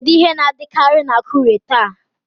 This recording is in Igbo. Kedu ihe na-adịkarị na Akure taa?